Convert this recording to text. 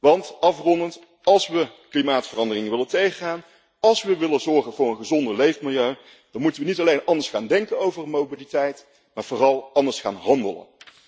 Want, afrondend, als we klimaatverandering willen tegengaan, als we willen zorgen voor een gezonder leefmilieu, dan moeten we niet alleen anders gaan denken over mobiliteit, maar vooral anders gaan handelen.